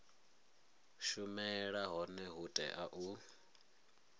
shumela hone hu tea u